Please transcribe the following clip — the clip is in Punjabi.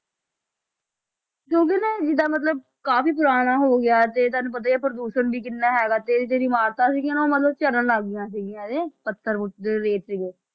ਕਿਉਂਕਿ ਨਾ ਇਹ ਜਿੱਦਾਂ ਮਤਲਬ ਕਾਫ਼ੀ ਪੁਰਾਣਾ ਹੋ ਗਿਆ ਤੇ ਤੁਹਾਨੂੰ ਪਤਾ ਹੀ ਹੈ ਪ੍ਰਦੂਸ਼ਣ ਵੀ ਕਿੰਨਾ ਹੈਗਾ ਤੇ ਜਿਹੜੀ ਇਮਾਰਤਾਂ ਸੀਗੀਆਂ ਉਹ ਮਤਲਬ ਝੜਨ ਲੱਗ ਗਈਆਂ ਸੀਗੀਆਂ ਇਹ ਪੱਥਰ ਰੇਤ ਸੀਗੇ